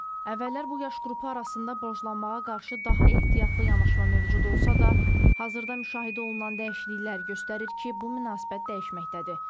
Əvvəllər bu yaş qrupu arasında borclanmağa qarşı daha ehtiyatlı yanaşma mövcud olsa da, hazırda müşahidə olunan dəyişikliklər göstərir ki, bu münasibət dəyişməkdədir.